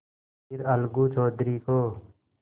फिर अलगू चौधरी को